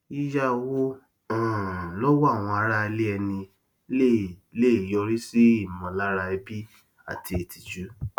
yíyà owó um lọwọ àwọn ará ilẹ ẹni lè lè yọrí sí ìmọlára ẹbi àti ìtìjú